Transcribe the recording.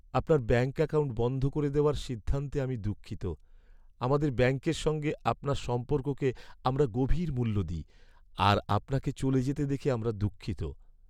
আপনার bank account বন্ধ করে দেওয়ার সিদ্ধান্তে আমি দুঃখিত। আমাদের ব্যাঙ্কের সঙ্গে আপনার সম্পর্ককে আমরা গভীর মূল্য দিই, আর আপনাকে চলে যেতে দেখে আমরা দুঃখিত।